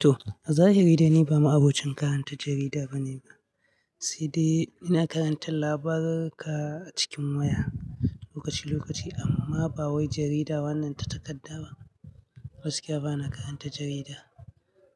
To, a zahiri dai ni ba ma'abocin karanta jarida bane ba. Se dai ina karanta labaruruka a cikin waya lokaci-lokaci amma ba wai jarida wannan ta takarda ba. Gaskiya bana karanta jarida.